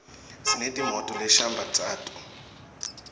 sineti moto leshambatqato